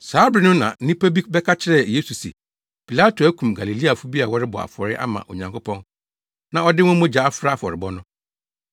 Saa bere no na nnipa bi bɛka kyerɛɛ Yesu se Pilato akum Galileafo bi a wɔrebɔ afɔre ama Onyankopɔn na ɔde wɔn mogya afra afɔrebɔ no.